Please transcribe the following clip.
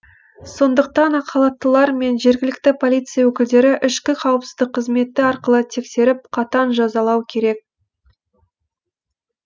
сондықтан ақ халаттылар мен жергілікті полиция өкілдерін ішкі қауіпсіздік қызметі арқылы тексеріп қатаң жазалау керек